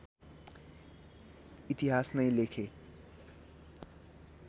इतिहास नै लेखे